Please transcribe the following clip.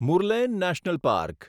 Murlen national park